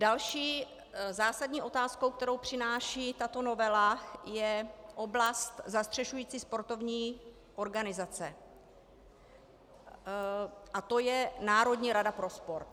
Další zásadní otázkou, kterou přináší tato novela, je oblast zastřešující sportovní organizace a to je Národní rada pro sport.